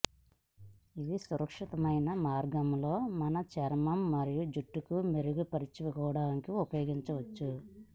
ఇవి సురక్షితమైన మార్గంలో మన చర్మం మరయిు జుట్టుకు మెరుగుపరుచుకోవడానికి ఉపయోగించుకోవచ్చు